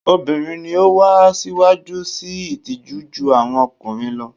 Obirin ni o wa siwaju sii itiju ju awọn ọkunrin lo